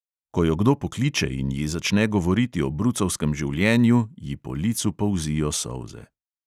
Ko jo kdo pokliče in ji začne govoriti o brucovskem življenju, ji po licu polzijo solze.